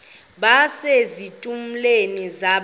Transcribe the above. base zitulmeni zedaka